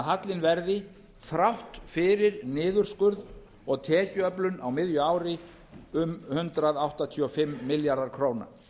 hallinn þrátt fyrir niðurskurð og tekjuöflun á miðju ári í um hundrað áttatíu og fimm milljarða króna